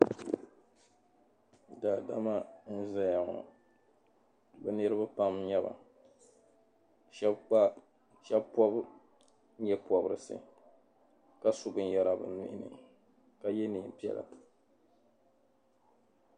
Daadama n-zaya ŋɔ be niriba pam n-nyɛba shɛba pɔbi nyɛpɔbirisi ka su binyɛra be nuhi ni ka ye neen'piɛla.